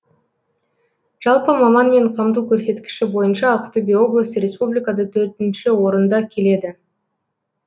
жалпы маманмен қамту көрсеткіші бойынша ақтөбе облысы республикада төртінші орында келеді